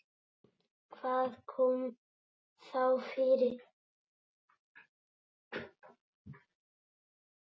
Hvað kom þá fyrir?